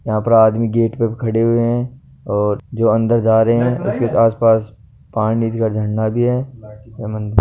यहाँ पर आदमी गेट पर खड़े हुए है और जो अन्दर जा रहे है उसके आस पास का झंडा भी है --